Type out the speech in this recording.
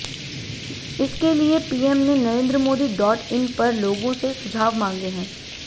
इसके लिए पीएम ने नरेंद्र मोदी डॉट इन पर लोगों से सुझाव मांगे हैं